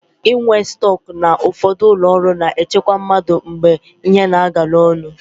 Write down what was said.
Inwe stọk na ụfọdụ ụlọọrụ na-echekwa mmadụ mgbe ihe na-agala ọnụ.